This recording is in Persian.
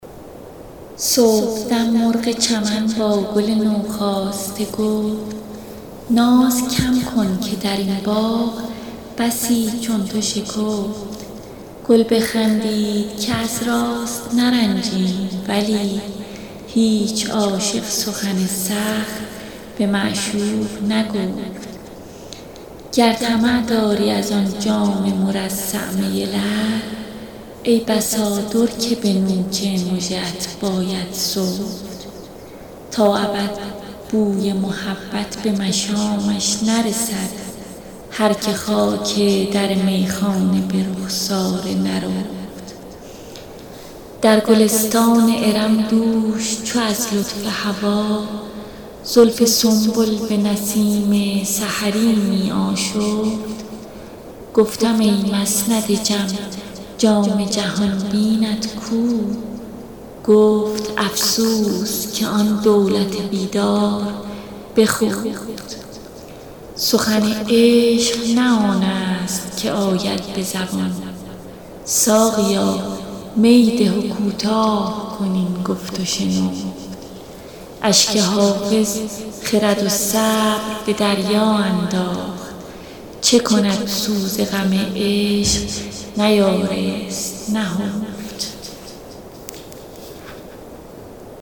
صبحدم مرغ چمن با گل نوخاسته گفت ناز کم کن که در این باغ بسی چون تو شکفت گل بخندید که از راست نرنجیم ولی هیچ عاشق سخن سخت به معشوق نگفت گر طمع داری از آن جام مرصع می لعل ای بسا در که به نوک مژه ات باید سفت تا ابد بوی محبت به مشامش نرسد هر که خاک در میخانه به رخسار نرفت در گلستان ارم دوش چو از لطف هوا زلف سنبل به نسیم سحری می آشفت گفتم ای مسند جم جام جهان بینت کو گفت افسوس که آن دولت بیدار بخفت سخن عشق نه آن است که آید به زبان ساقیا می ده و کوتاه کن این گفت و شنفت اشک حافظ خرد و صبر به دریا انداخت چه کند سوز غم عشق نیارست نهفت